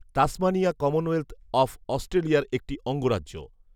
Tasmania Commonwealth অফঅস্ট্রেলিয়ার একটি অঙ্গরাজ্য